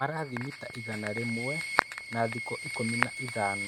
Marathiĩ mita igana rĩmwe na thikũ ikũmi na ithano.